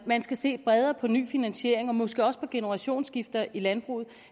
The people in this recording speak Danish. man skal se bredere på en ny finansiering og måske også på generationsskifter i landbruget